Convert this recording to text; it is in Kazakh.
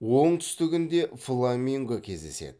оңтүстігінде фламинго кездеседі